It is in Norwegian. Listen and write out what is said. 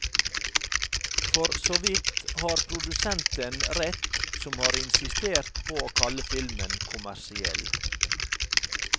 For såvidt har produsenten rett som har insistert på å kalle filmen kommersiell.